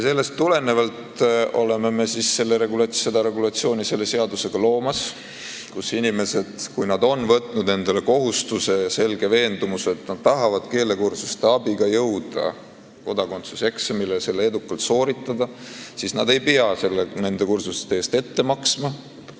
Sellest tulenevalt oleme me selle seadusega loomas regulatsiooni, mille järgi inimesed, kes on võtnud endale kohustuse ja on selgelt veendunud, et nad tahavad keelekursuste abiga jõuda kodakondsuseksamile ja selle edukalt sooritada, ei pea nende kursuste eest ette maksma.